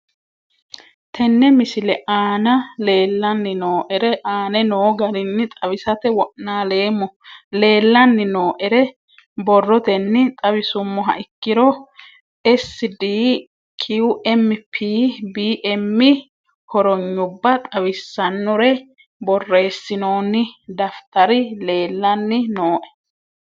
Tene misile aana leelanni nooerre aane noo garinni xawisate wonaaleemmo. Leelanni nooerre borrotenni xawisummoha ikkiro S/D/Q/M/P/B/M hornyubba xawisaanore boreesinoonni dafitarri leelanni nooe.